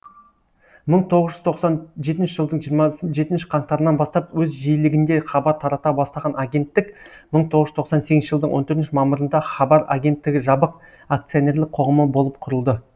мың тоғыз жүз тоқсан жетінші жылдың жиырма жетінші қаңтарынан бастап өз жиілігінде хабар тарата бастаған агенттік мың тоғыз жүз тоқсан сегізінші жылдың он төртінші мамырында хабар агенттігі жабық акционерлік қоғамы болып құрылды